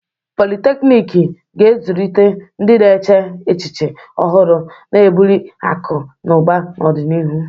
Politeknik ga-azụlite ndị na-eche echiche ọhụrụ, na-ebuli akụ na ụba n'ọdịnihu.